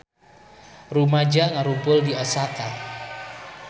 Rumaja ngarumpul di Osaka